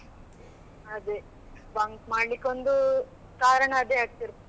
ಅದೇ bunk ಮಾಡ್ಲಿಕ್ಕೆ ಒಂದು ಕಾರಣ ಅದೇ ಆಗ್ತಿತ್ತು.